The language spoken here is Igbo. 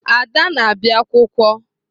Ada na-abịa akwụkwọ.